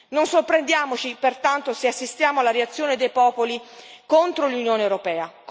Non sorprendiamoci pertanto se assistiamo alla reazione dei popoli contro l'Unione europea.